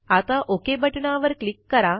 आता ओक बटणावर क्लिक करा